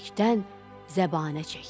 Bərkdən zəbanə çəkdi.